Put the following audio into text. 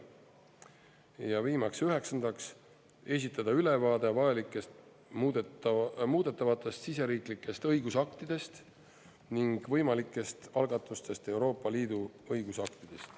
Ja viimaks üheksandaks, esitada ülevaade vajalikest muudetavatest siseriiklikest õigusaktidest ning võimalikest algatustest ja Euroopa Liidu õigusaktidest.